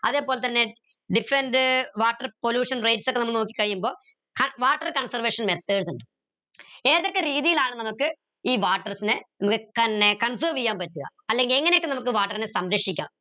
അതേപോലെതന്നെ different water pollution rates ഒക്കെ നോക്കി കഴിയുമ്പോ ആഹ് water conservation methods ഇണ്ട് ഏതൊക്കെ രീതിയിലാണ് നമുക്ക് ഈ waters നെ നമുക്ക് conserve എയാൻ പറ്റുക അല്ലെങ്കിൽ എങ്ങനെയൊക്കെ water നെ നമുക്ക് സംരക്ഷിക്കാം